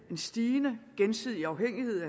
en stigende gensidig afhængighed